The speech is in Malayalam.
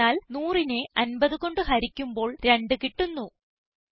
എന്തെന്നാൽ 100നെ 50 കൊണ്ട് ഹരിക്കുമ്പോൾ 2 കിട്ടുന്നു